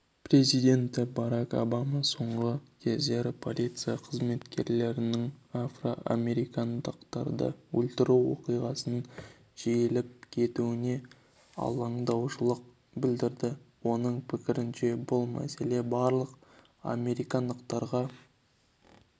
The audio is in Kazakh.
президенті барак обама соңғы кездері полиция қызметкерлерінің афроамерикандықтарды өлтіру оқиғасының жиілеп кетуіне алаңдаушылық білдірді оның пікірінше бұл мәселе барлық америкалықтарға қатысты